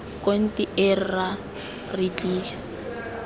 konti ee rra re tlile